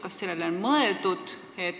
Kas sellele on mõeldud?